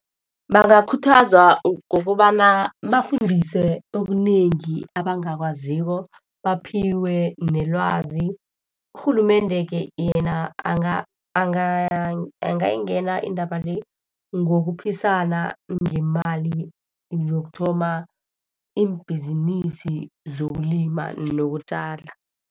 Bangakhuthazwa ngokobana bafundise okunengi abangakwaziko, baphiwe nelwazi. Urhulumende ke yena anga angayingena indaba le ngokuphisana ngemali zokuthoma iimbhizinisi zokulima nokutjala.